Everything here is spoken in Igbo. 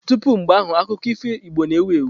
Tupu mgbe ahụ, akụkọ ifo Igbo na-ewu ewu.